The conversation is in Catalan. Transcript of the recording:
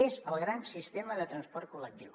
és el gran sistema de transport col·lectiu